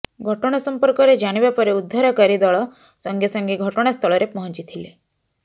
ଘଟଣା ସମ୍ପର୍କରେ ଜାଣିବା ପରେ ଉଦ୍ଧରକାରୀ ଦଳ ସଙ୍ଗେ ସଙ୍ଗେ ଘଟଣା ସ୍ଥଳରେ ପହଞ୍ଚି ଥିଲେ